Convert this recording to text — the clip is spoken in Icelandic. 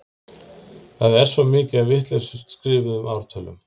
það er svo mikið af vitlaust skrifuðum ártölum